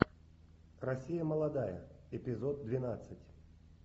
россия молодая эпизод двенадцать